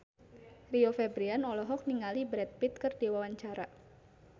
Rio Febrian olohok ningali Brad Pitt keur diwawancara